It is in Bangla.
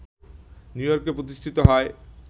নিউইয়র্কে প্রতিষ্ঠিত হয়